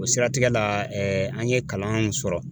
O siratigɛ la an ye kalanw sɔrɔ